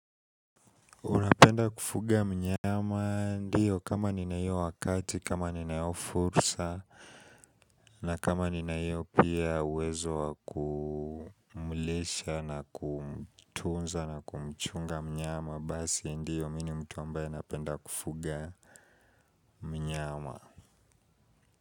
Unapenda kufuga mnyama ndiyo kama nina hiyo wakati, kama nina hiyo fursa, na kama nina hiyo pia wezo wa kumlisha na kumtunza na kumchunga mnyama, basi ndiyo mimi ni mtu ambaye napenda kufuga mnyama.